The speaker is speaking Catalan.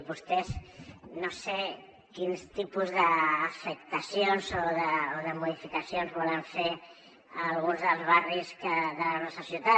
vostès no sé quins tipus d’afectacions o de modificacions volen fer a alguns dels barris de la nostra ciutat